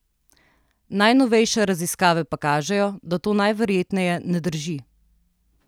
Najnovejše raziskave pa kažejo, da to najverjetneje ne drži.